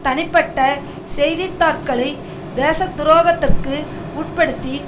தனிப்பட்ட செய்தி தாட்களை தேசத்துரோகத்திற்கு உட்படுத்தி